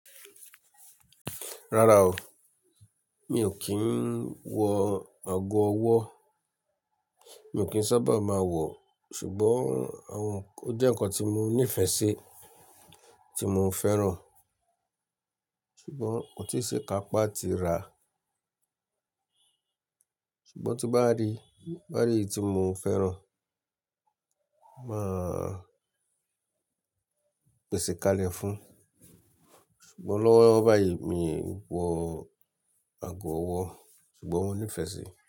Rárá o, mi ò kí ń wọ ago ọwọ́, mi o kì n sábà máa wọ̀, ṣùgbọ́n àwọn ó jẹ́ ǹkan tí mo ní ìfẹ́ sí, tí mo ń fẹ́ràn, ṣùgbọ́n kò tí sí ikápá tí ra. Ṣùgbọ́n tí bá rí, bá rí èyí tí mo fẹ́ràn, máa pèsè kalẹ̀ fún un. Ṣùgbọ́n lọ́wọ́ báyìí mi wọ ago ọwọ́, ṣùgbọ́n mo ní ìfẹ́ sí i.